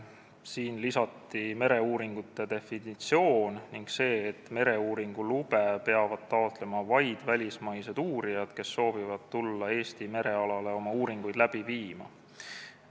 Siia lisati mereuuringute definitsioon ning see, et mereuuringulube peavad taotlema vaid välismaised uurijad, kes soovivad tulla Eesti merealale oma uuringuid läbi viima.